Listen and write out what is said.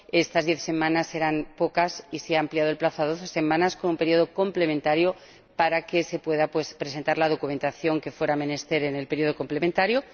Estas diez semanas eran pocas y se ha ampliado el plazo a doce semanas, como período complementario, para que se pueda presentar la documentación que fuera menester en el período complementario.